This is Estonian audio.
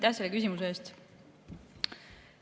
Aitäh selle küsimuse eest!